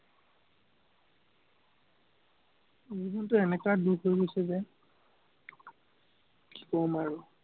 জীৱনটো এনেকা দুখ হৈ গৈছে যে কি কম আৰু